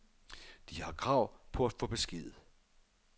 De har krav på at få klar besked.